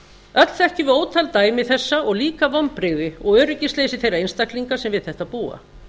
öll þekkjum við ótal dæmi þessa og líka vonbrigði og öryggisleysi þeirra einstaklinga sem við þetta búa